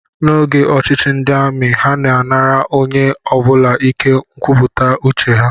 N'oge ọchịchị ndị amị, ha na-anara onye ọ bụla ike nkwupụta uche ha